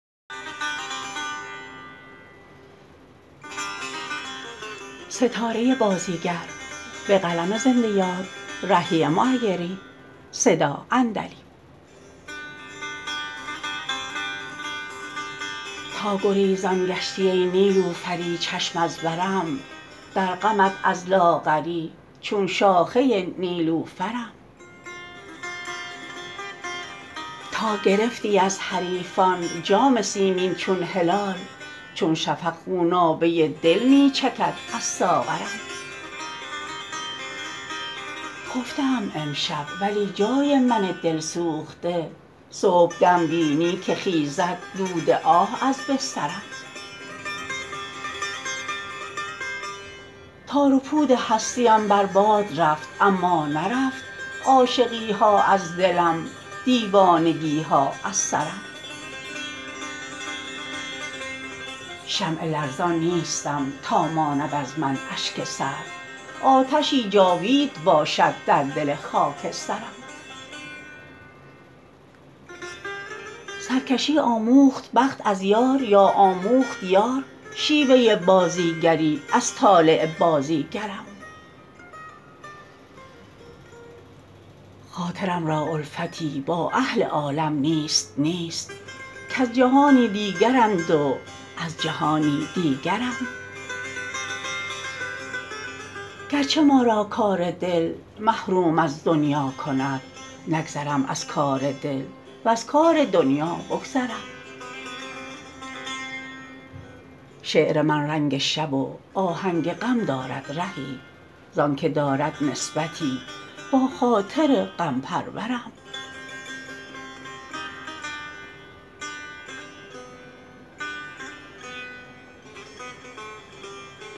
تا گریزان گشتی ای نیلوفری چشم از برم در غمت از لاغری چون شاخه نیلوفرم تا گرفتی از حریفان جام سیمین چون هلال چون شفق خونابه دل می چکد از ساغرم خفته ام امشب ولی جای من دل سوخته صبحدم بینی که خیزد دود آه از بسترم تار و پود هستی ام بر باد رفت اما نرفت عاشقی ها از دلم دیوانگی ها از سرم شمع لرزان نیستم تا ماند از من اشک سرد آتشی جاوید باشد در دل خاکسترم سرکشی آموخت بخت از یار یا آموخت یار شیوه بازیگری از طالع بازیگرم خاطرم را الفتی با اهل عالم نیست نیست کز جهانی دیگرند و از جهانی دیگرم گرچه ما را کار دل محروم از دنیا کند نگذرم از کار دل وز کار دنیا بگذرم شعر من رنگ شب و آهنگ غم دارد رهی زآنکه دارد نسبتی با خاطر غم پرورم